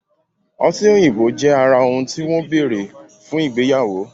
ọtí òyìnbó jẹ ara òun ti wọn bẹrẹ fún igbeyawo.